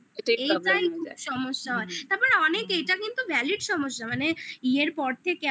এটাই সমস্যা হয় তারপর অনেক এইটা কিন্তু valid সমস্যা মানে ইয়ের পর থেকে